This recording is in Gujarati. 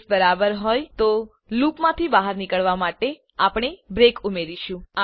જો કેસ બરાબર હોય તો લૂપમાંથી બહાર નીકળવા માટે આપણે બ્રેક ઉમેરીશું